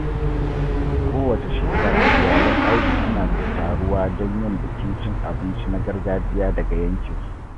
Kowace shekara, iyalan Audu suna taruwa don yin bukin cin abinci na gargajiya daga yankinsu.